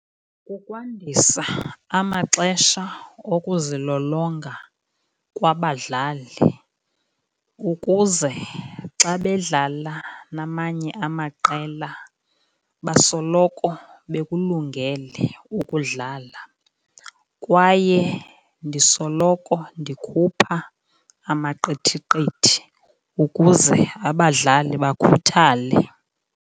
Kukwandisa amaxesha okuzilolonga kwabadlali ukuze xa bedlala namanye amaqela basoloko bekulungele ukudlala. Kwaye ndisoloko ndikhupha amaqithiqithi ukuze abadlali bakhuthale.